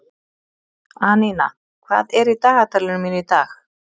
Anína, hvað er í dagatalinu mínu í dag?